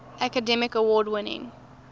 academy award winning